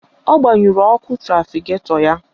Ọ gbanyụrụ ọkụ trafiketọ ya.